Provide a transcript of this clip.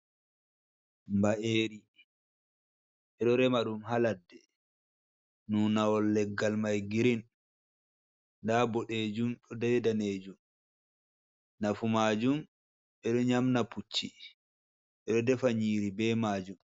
Mba’eri ɓe ɗo rema ɗum haa laɗɗe, nunawol leggal mai girin, nda boɗeejum be daneejum, nafuu maajum ɓe ɗo nyamna pucci ɓe ɗo defa nyiri be maajum.